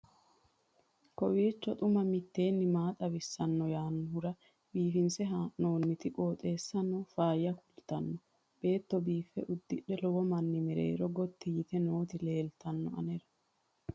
kowiicho xuma mtini maa xawissanno yaannohura biifinse haa'noonniti qooxeessano faayya kultannori beetto biiffe uddidhe lowo manni mereero gotti yite nooti leeltanno anera